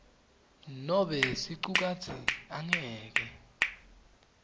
nobe sicukatsi angeke